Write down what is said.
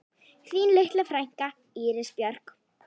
Þín litla frænka, Íris Björk.